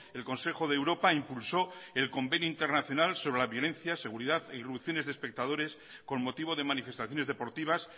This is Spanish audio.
el consejo de europa impulsó el convenio internacional sobre la violencia seguridad e irrupciones de espectadores con motivo de manifestaciones deportivas